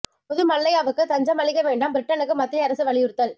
பொது மல்லையாவுக்கு தஞ்சம் அளிக்க வேண்டாம் பிரிட்டனுக்கு மத்திய அரசு வலியுறுத்தல்